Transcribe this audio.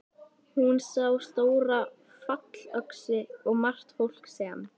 Hún sá stóra fallöxi og margt fólk sem.